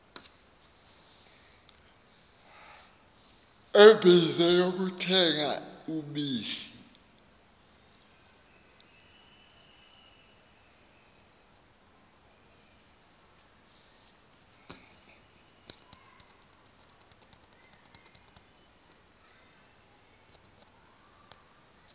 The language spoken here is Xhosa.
ebize kuthenga ubisi